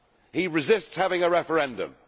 He resists having a referendum.